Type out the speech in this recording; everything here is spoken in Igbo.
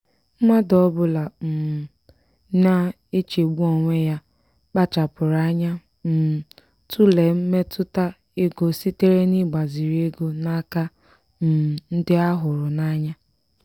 mmadụ ọbụla um na-echegbu onwe ya kpachapụrụ anya um tụlee mmetụta ego sitere n'igbaziri ego n'aka um ndị a hụrụ n'anya.